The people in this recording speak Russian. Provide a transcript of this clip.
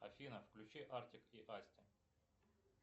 афина включи артик и асти